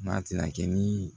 N'a tɛna kɛ ni